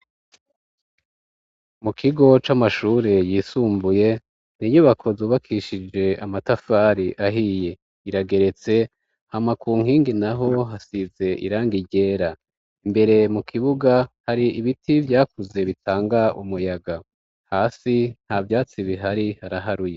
Mu kigo c'amashure yisumbuye ni inyubako zubakishije amatafari ahiye. Irageretse hama ku nkingi naho hasize irangi ryera. Imbere mu kibuga hari ibiti vyakuze bitanga umuyaga. Hasi nta vyatsi bihari haraharuye.